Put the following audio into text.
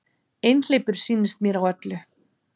Einhleypur sýnist mér á öllu.